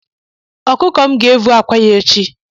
Ọkụkọ m ga-avụ akwa ya echi